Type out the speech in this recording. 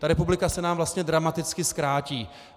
Ta republika se nám vlastně dramaticky zkrátí.